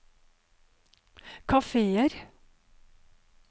kafeer